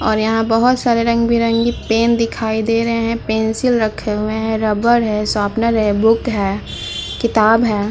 और यहाँ पर बहोत सारे रंग-बिरंगे पेन दिखाई दे रहे हैं। पेंसिल रखी हुई है। रबर है। शॉपनेर है। बुक है। किताब है।